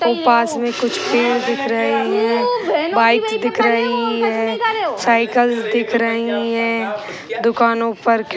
पास में कुछ पेड़ दिख रहे हैं बाइक दिख रही है साइकिल दिख रही है दुकानों पर खी --